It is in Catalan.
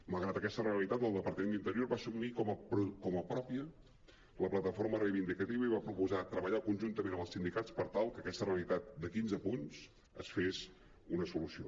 malgrat aquesta realitat el departament d’interior va assumir com a pròpia la plataforma reivindicativa i va proposar treballar conjuntament amb els sindicats per tal que aquesta realitat de quinze punts se’n fes una solució